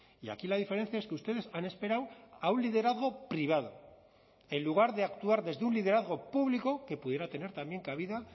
y aquí la diferencia es que ustedes han esperado a un liderazgo privado en lugar de actuar desde un liderazgo público que pudiera tener también cabida